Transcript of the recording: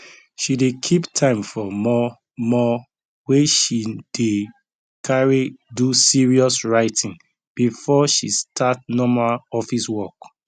she dey keep time for mor mor wey she dey carry do serious writing before she start normal office work